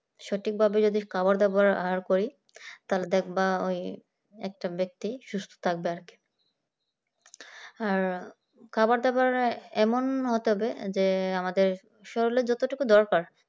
সঠিকভাবে যদি খাওয়া দাওয়া আর করি তাহলে দেখবা ওই একটা ব্যক্তি সুস্থ থাকবে আর কি আর খাবার দাবারে এমন হতে হবে যে আমাদের শরীরে যতটুকু দরকার